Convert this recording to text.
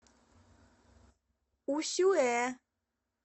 усюэ